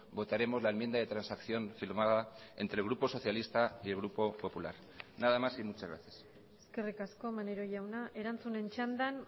votaremos la enmienda de transacción firmada entre el grupo socialista y el grupo popular nada más y muchas gracias eskerrik asko maneiro jauna erantzunen txandan